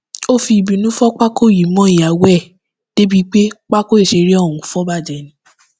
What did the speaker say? ó fi ìbínú fọ pákó yìí mọ ìyàwó ẹ débìí pé pákó ìṣeré ọhún fọ bàjẹ ni